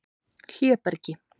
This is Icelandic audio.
Hlébergi